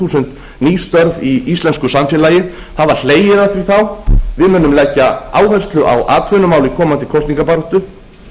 þúsund ný störf í íslensku samfélagi það var hlegið að því þá við munum leggja áherslu á atvinnumál í komandi kosningabaráttu